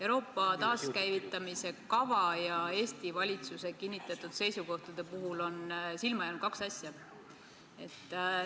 Euroopa taaskäivitamise kava ja Eesti valitsuse kinnitatud seisukohtade puhul on silma jäänud kaks asja.